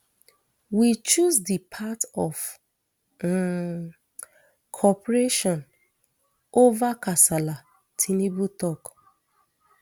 we choose di path of um cooperation ova kasala tinubu tok